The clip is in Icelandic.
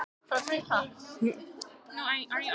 Sá útlendingslegi settist sömu megin við skrifborðið og ég.